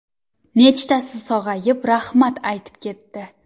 Nechtasi sog‘ayib, rahmat aytib ketdi.